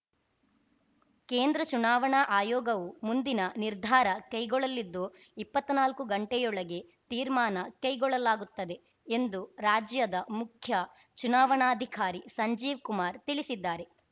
ಕೇಂದ್ರ ಚುನಾವಣಾ ಆಯೋಗವು ಮುಂದಿನ ನಿರ್ಧಾರ ಕೈಗೊಳ್ಳಲಿದ್ದು ಇಪ್ಪತ್ನಾಲಕ್ಕು ಗಂಟೆಯೊಳಗೆ ತೀರ್ಮಾನ ಕೈಗೊಳ್ಳಲಾಗುತ್ತದೆ ಎಂದು ರಾಜ್ಯದ ಮುಖ್ಯ ಚುನಾವಣಾಧಿಕಾರಿ ಸಂಜೀವ್‌ ಕುಮಾರ್‌ ತಿಳಿಸಿದ್ದಾರೆ